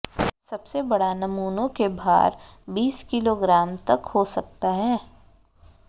सबसे बड़ा नमूनों के भार बीस किलोग्राम तक हो सकता है